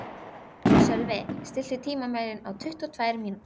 Sölvi, stilltu tímamælinn á tuttugu og tvær mínútur.